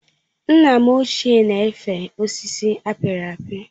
Nna m ochié na efe osisi apiri apị